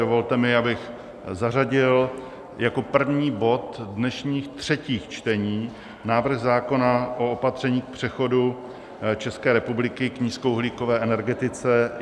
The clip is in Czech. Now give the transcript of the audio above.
Dovolte mi, abych zařadil jako první bod dnešních třetích čtení návrh zákona o opatřeních k přechodu České republiky k nízkouhlíkové energetice.